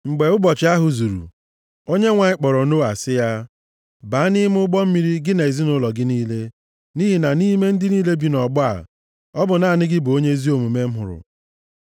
Mgbe ụbọchị ahụ zuru, Onyenwe anyị kpọrọ Noa sị ya, “Baa nʼime ụgbọ mmiri, gị na ezinaụlọ gị niile, nʼihi na nʼime ndị niile bi nʼọgbọ a, ọ bụ naanị gị bụ onye ezi omume m hụrụ.